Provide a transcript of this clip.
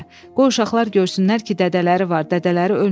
Qoy uşaqlar görsünlər ki, dədələri var, dədələri ölməyib.